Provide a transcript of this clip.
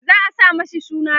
za'a sa mashi suna Rabo